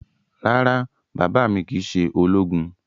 Rárá, baba mi kii ṣe ologun